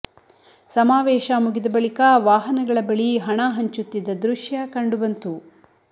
ಸಮಾವೇಶ ಮುಗಿದ ಬಳಿಕ ವಾಹನಗಳ ಬಳಿ ಹಣ ಹಂಚುತ್ತಿದ್ದ ದೃಶ್ಯ ಕಂಡುಬಂತು